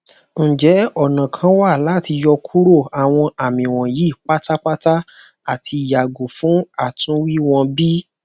njẹ ọna kan wa lati yọkuro awọn ami wọnyi patapata ati yago fun atunwi wọn bi